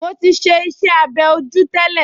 Mo ti ṣe iṣẹ́-abẹ́ ojú tẹ́lẹ̀